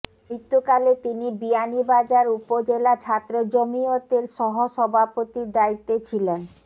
মৃত্যুকালে তিনি বিয়ানীবাজার উপজেলা ছাত্র জমিয়তের সহসভাপতির দায়িত্বে ছিলেন